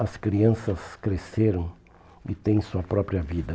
As crianças cresceram e têm sua própria vida.